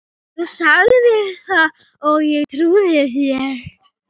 . þú sagðir það og ég trúði þér.